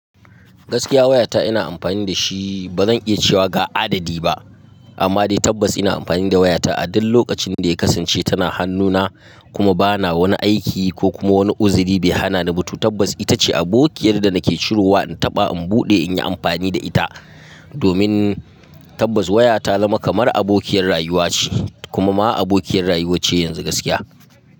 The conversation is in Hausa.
Gaskiya wayata ina amfani da shi. Ba zan iya cewa ga adadi ba amma dai tabbas ina amfani da wayata a duk lokacin da ya kasance. Tana hannuna kuma ba na wani aiki ko kuma wani uziri bai hana ni ba. To tabbas ita ce abokiyar da nake ciro wa. Taba in bude in yi amfani da ita. Domin tabbas waya ta zama kamar abokiyar rayuwa ce, kuma ma abokiyar rayuwa ce yanzu gaskiya.